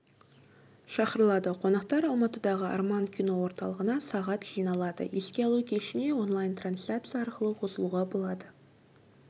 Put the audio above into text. шақырылады қонақтар алматыдағы арман кино орталығына сағат жиналады еске алу кешіне онлайн-трансляция арқылы қосылуға болады